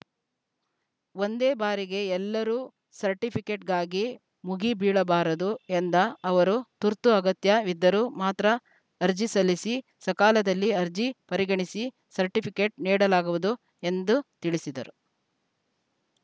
ಒಂದೇ ಬಾರಿಗೆ ಎಲ್ಲರೂ ಸರ್ಟಿಪಿಕೆಟ್‌ಗಾಗಿ ಮುಗಿ ಬೀಳಬಾರದು ಎಂದ ಅವರು ತುರ್ತು ಅಗತ್ಯ ವಿದ್ದರೂ ಮಾತ್ರ ಅರ್ಜಿ ಸಲ್ಲಿಸಿ ಸಕಾಲದಲ್ಲಿ ಅರ್ಜಿ ಪರಿಗಣಿಸಿ ಸರ್ಟಿಪಿಕೆಟ್‌ ನೀಡಲಾಗುವುದು ಎಂದ ತಿಳಿಸಿದರು